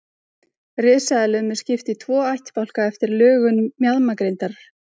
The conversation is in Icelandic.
Risaeðlum er skipt í tvo ættbálka eftir lögun mjaðmagrindar.